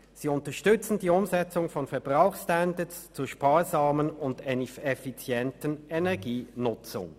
Sie unterstützen die Umsetzung von Verbrauchsstandards zur sparsamen und effizienten Energienutzung.